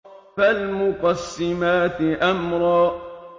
فَالْمُقَسِّمَاتِ أَمْرًا